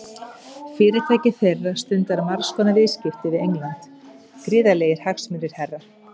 Fyrirtæki þeirra stundar margs konar viðskipti við England, gríðarlegir hagsmunir, herra.